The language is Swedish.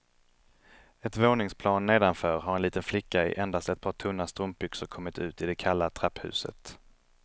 Ett våningsplan nedanför har en liten flicka i endast ett par tunna strumpbyxor kommit ut i det kalla trapphuset.